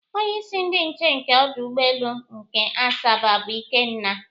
Onyeisi ndị nche nke ọdụ ụgbọelu nke Asaba bụ Ikenna